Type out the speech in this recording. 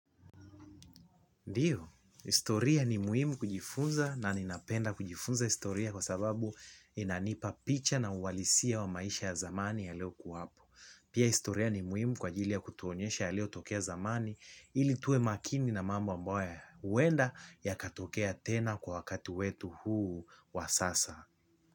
Ndiyo, historia ni muhimu kujifunza na ninapenda kujifunza historia kwa sababu inanipa picha na uhalisia wa maisha ya zamani ya leo kuwapo. Pia historia ni muhimu kwa ajili ya kutuonyesha yaliyotokea zamani ili tuwe makini na mambo ambaye huenda yakatokea tena kwa wakati wetu huu wa sasa.